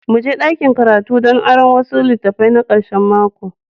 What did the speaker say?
Mu je dakin karatu don aron wasu litattafai na karshen mako.